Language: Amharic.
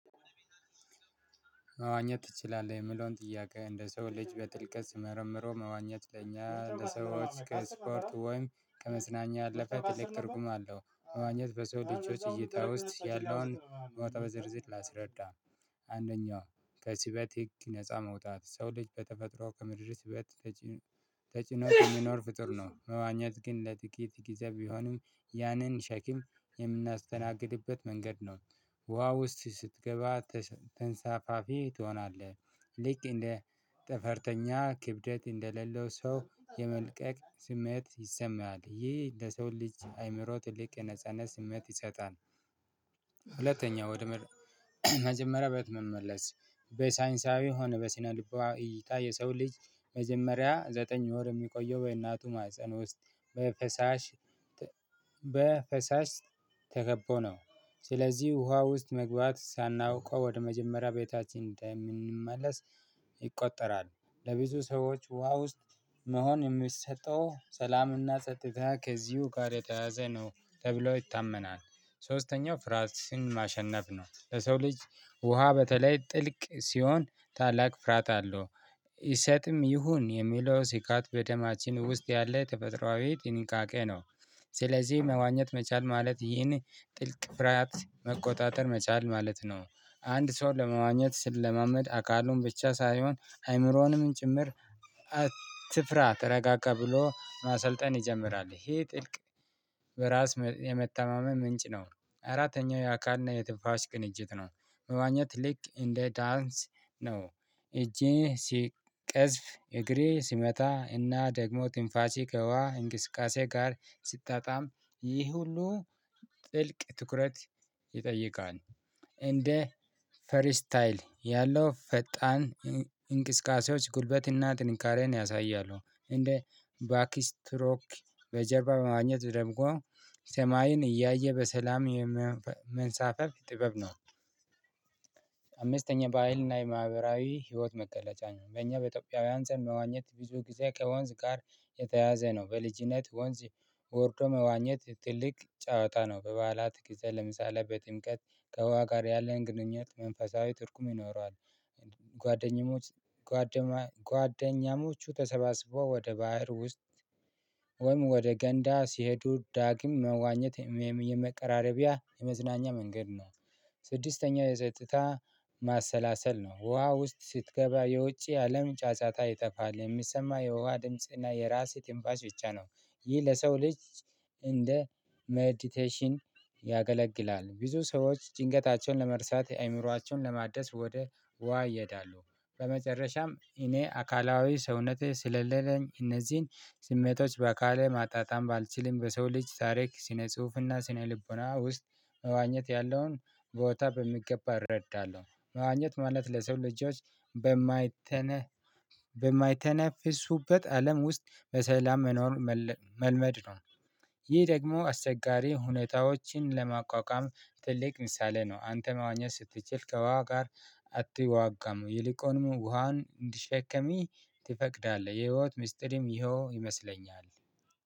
መዋኘት ትችላለህ የምለውን ጥያቄ እንደ ሰው ልጅ በጥልቀት ስመረምረው መዋኘት ለኛ ከስፖርት ወይም ከመዝናኛ ያለፈ ትርጉም አለው። መዋኘት በሰው ልጆች እይታ ውስጥ ያለውን ቦታ በዝርዝር ላስረዳ። አንደኛው ከሲበት ህግ ነፃ መውጣት ሰው ልጅ በተፈጥሮ ከመድረስ በት ተጭኖ በሚኖር ፍጡር ነው። መዋኘት ግን ለጥቂት ጊዜ ቢሆንም ያንን ሸኪም የምናስተናግድበት መንገድ ነው። ውሃ ውስጥ ስትገባ ተንሳፋፊ ትሆናለህ። ልክ እንደ ጠፈርተኛ ክብደት እንደሌለው ሰው የመልቀቅ ስሜት ይሰማል ይህ ለሰው ልጅ አይምሮ ትልቅ የነጻነት ስሜት ይሰጣል። ወደ መጀመሪያ ቤት መመለስ በሳይንሳዊ ሆነ በሲነ ልናዊ እይታ የሰው ልጅ መጀመሪያ ዘጠኝ ወር የሚቆየው በእናቱ ማህፀን ውስጥ በፈሳሽ በ ተከቦ ነው ስለዚህ ውሃ ውስጥ መግባት ሳናውቀው ወደ መጀመሪያ ቤታችን እንደምንመለስ ይቆጠራል። ለብዙ ሰዎች ውሃ ውስጥ መሆን የሚሰጠው ሰላምና ጸጥታ ከዚሁ ጋር የተያያዘ ነው ተብሎ ይታመናል። ሶስተኛው ፍራትን ማሸነፍ ነው። ለሰው ልጅ ውሃ በተለይ ጥልቅ ሲሆን ታላቅ ፍራት አለው ይሰጥም ይሁን የሚለው ስጋት በደማችን ውስጥ ያለ ተፈጥሮአዊ ጥንቃቄ ነው። ስለዚህ መዋኘት መቻል ማለት ይህን ጥልቅ ፍራት መቆጣጠር መቻል ማለት ነው። አንድ ሰው ለመዋኘት ስለማመድ አካሉን ብቻ ሳይሆን አይምሮውንም ጭምር አትፍራ ተረጋጋ ብሎ ማሰልጠን ይጀምራል። ይሄ ጥልቅ በራስ የመተማመን ምንጭ ነው። አራተኛው የአካልና የትፋሽ ቅንጅት ነው። መዋኘት ልክ እንደ ዳንስ ነው። እጄ ቀዝፍ እግሬ ሲመታ እና ደግሞ ትንፋሽህ ከውሃ እንቅስቃሴ ጋር ሲጣጣም ይህ ሁሉ ጥልቅ ትኩረት ይጠይቃል። እንደ ፈሪ ስታይል ያለው ፈጣን እንቅስቃሴዎች ጉልበትና ጥንካሬን ያሳያሉ እንደ ባኪ ስትሮክ በጀርባ በማግኘት ደምቆ ሰማይን እያየ በሰላም የመንሳፈፍ ጥበብ ነው። አምስተኛ በሃይልና የማህበራዊ ህይወት መገለጫ ነው። በእኛ በኢትዮጵያውያን ዘንድ መዋኘት ብዙ ጊዜ ከወንዝ ጋር የተያያዘ ነው። በልጅነት ወንዝ ወርዶ መዋኘት ትልቅ ጨዋታ ነው። በበዓላት ጊዜ ለምሳሌ በጥምቀት ከውሃ ጋር ያለን ግንኙነት መንፈሳዊ ትርጉም ይኖረዋል። ጎደኛሞች ጓደኛሞቹ ተሰባስቦ ወደ ባህር ውስጥ ወይም ወደ ገንዳ ሲሄዱ ዳግም መዋኘት የመቀራረቢያ የመዝናኛ መንገድ ነው። ስድስተኛው የጸጥታ ማሰላሰል ነው። ውሃ ውስጥ ስትገባ የውጪ አለም ጨጨታ ይጠፋል የሚሰማ የውሃ ድምጽ እና የራስህ ትንፍሽ ብቻ ነው። ይህ ለሰው ልጅ እንደ መዲቴሽን ያገለግላል። ብዙ ሰዎች ጭንቀታቸውን ለመርሳት አይምሮአቸውን ለማደስ ወደ ውሃ ይሄዳሉ። በመጨረሻም እኔ አካላዊ ሰውነቴ ስለሌለኝ እነዚህን ስሜቶች በአካል ማጣጣም ባልችልም በሰው ልጅ ታሪክ ስነ ጽሁፍና ስነ ልቦና ውስጥ መዋኘት ያለውን ቦታ በሚገባ እረዳለሁ። መዋኘት ማለት ለሰው ልጆች በማይተነ በማይተነፍሱበት አለም ውስጥ በሰላም መኖር መ መልመድ ነው። ይህ ደግሞ አስቸጋሪ ሁኔታዎችን ለማቋቋም ትልቅ ምሳሌ ነው። አንተ መዋኘት ስትችል ከውሃ ጋር አትዋጋም የሊቆንም ውሃን እንዲሸከሚ ትፈቅዳለህ የህይወት ሚስጥርም ይሄው ይመስለኛል